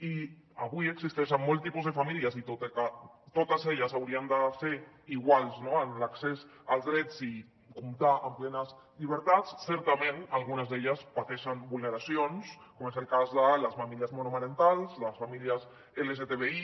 i avui existeixen molts tipus de famílies i tot i que totes elles haurien de ser iguals en l’accés als drets i comptar amb plenes llibertats certament algunes d’elles pateixen vulneracions com és el cas de les famílies monomarentals les famílies lgtbi